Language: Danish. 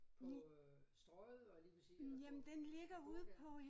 På øh Strøget var jeg lige ved at sige eller på på gågaden